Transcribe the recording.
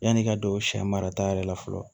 Yann'i ka don sɛ marata yɛrɛ la fɔlɔ